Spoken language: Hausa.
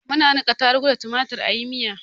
Muna niƙa tarugu da tumatur a yi miya.